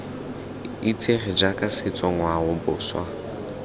itsege jaaka setso ngwao boswa